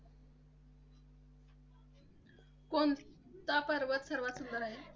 कोणता पर्वत सर्वात सुंदर आहे?